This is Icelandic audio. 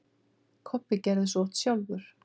Kobbi gerði svo oft sjálfur.